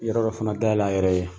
Yɔrɔ dɔ fana dayɛlɛ a yɛrɛ ye.